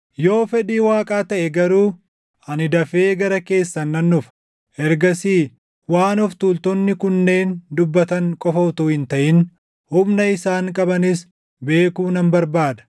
Yoo fedhii Waaqaa taʼe garuu ani dafee gara keessan nan dhufa; ergasii waan of tuultonni kunneen dubbatan qofa utuu hin taʼin humna isaan qabanis beekuu nan barbaada.